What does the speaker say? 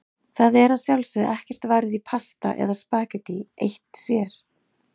Það er að sjálfsögðu ekkert varið í pasta eða spaghetti eitt sér.